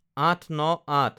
০৮/০৯/০৮